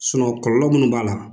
sinɔ kɔlɔlɔ minnu b'a la